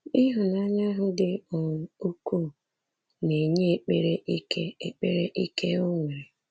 Ịhụnanya ahụ dị um ukwuu na-enye ekpere ike ekpere ike o nwere.